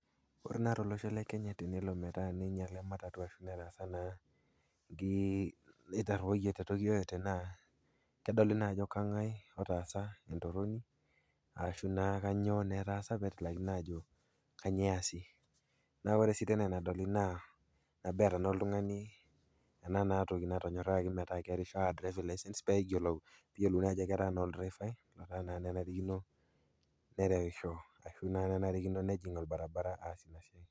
Ore naa tolosho le Kenya na tenelo metaa ninyala ematatu, etarruoyie kedoli na ajo kang'ae nataasa ajo kang'ae ajo kang'ae nataasa entoronok ashu kanyio etaasa neaku ore si ena endoli naa oshi oltungani anaa naa toki natonyoragie peishori driving licence peyiolouni ajo olderefai nerewisi, ninnye enarikino nepik orbaribara